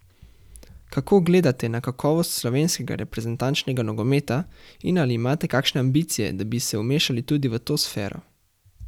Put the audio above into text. Kako gledate na kakovost slovenskega reprezentančnega nogometa in ali imate kakšne ambicije, da bi se vmešali tudi v to sfero?